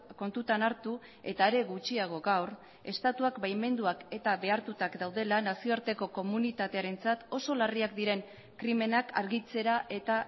kontutan hartu eta are gutxiago gaur estatuak baimenduak eta behartuak daudela nazioarteko komunitatearentzat oso larriak diren krimenak argitzera eta